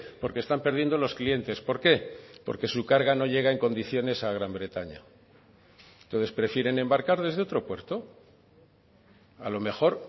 porque están perdiendo los clientes por qué porque su carga no llega en condiciones a gran bretaña entonces prefieren embarcar desde otro puerto a lo mejor